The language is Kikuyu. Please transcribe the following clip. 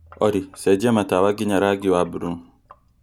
olly cenjia matawa nginya rangi mburuu